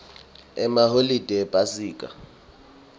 emaholide ephasika